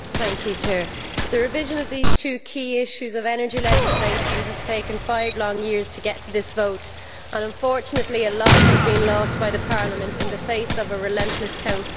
Mr President, the revision of these two key issues of energy legislation has taken five long years to get to this vote and unfortunately a lot has been lost by Parliament in the face of a relentless Council.